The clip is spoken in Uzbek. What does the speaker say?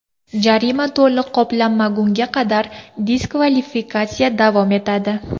Jarima to‘liq qoplanmagunga qadar diskvalifikatsiya davom etadi.